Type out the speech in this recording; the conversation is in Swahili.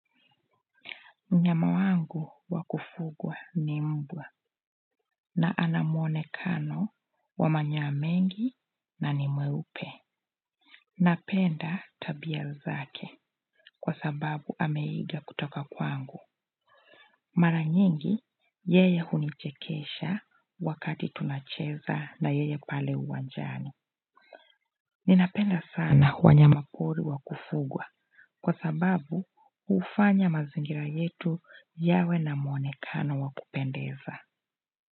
Mnyama wangu wa kufugwa ni mbwa na ana mwonekano wa manyoa mengi na ni mweupe. Napenda tabia zake kwa sababu ameiga kutoka kwangu. Mara nyingi yeye hunichekesha wakati tunacheza na yeye pale uwanjani. Ninapenda sana wanyamapori wa kufugwa kwa sababu hufanya mazingira yetu yawe na mwonekano wa kupendeza.